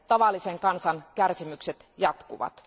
Tavallisen kansan kärsimykset jatkuvat.